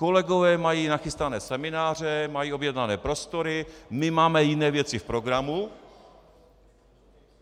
Kolegové mají nachystané semináře, mají objednané prostory, my máme jiné věci v programu.